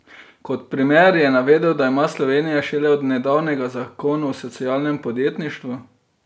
Kot primer je navedel, da ima Slovenija šele od nedavnega zakon o socialnem podjetništvu.